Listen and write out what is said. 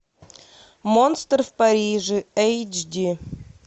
монстр в париже эйч ди